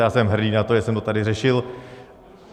A já jsem hrdý na to, že jsem to tady řešil.